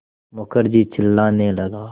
मुखर्जी चिल्लाने लगा